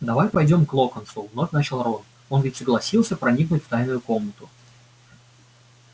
давай пойдём к локонсу вновь начал рон он ведь согласился проникнуть в тайную комнату